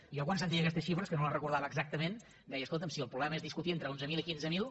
jo quan sentia aquestes xifres que no les recordava exactament deia escolta’m si el problema és discutir entre onze mil i quinze mil